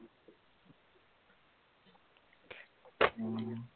অ